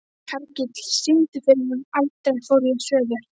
Hergill, syngdu fyrir mig „Aldrei fór ég suður“.